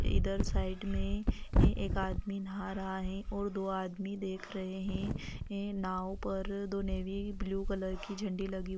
इधर साइड में एक आदमी नहा रहा हैं और दो आदमी देख रहे हैं नाँव पर दो नेवी ब्लू कलर की झंडी लगी हुई--